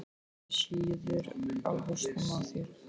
Það sýður á hausnum á þér!